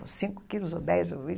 Ou cinco quilos, ou dez, ou vinte